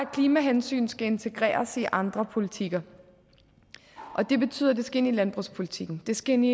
at klimahensyn skal integreres i andre politikker det betyder at det skal ind i landbrugspolitikken det skal ind i